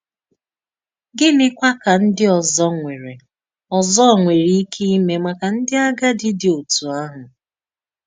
Gịnịkwà ka ndí òzò nwerè òzò nwerè íké ímè màkà ndí àgádì dị otú ahụ?